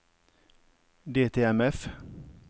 DTMF